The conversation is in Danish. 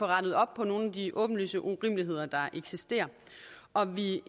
rettet op på nogle af de åbenlyse urimeligheder der eksisterer og vi